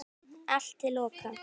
Allt til loka.